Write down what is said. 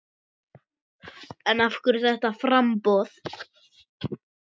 En af hverju þetta framboð?